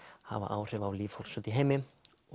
hafa áhrif á líf fólks úti í heimi